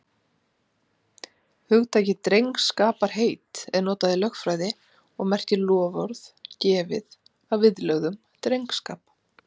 Hugtakið drengskaparheit er notað í lögfræði og merkir loforð gefið að viðlögðum drengskap.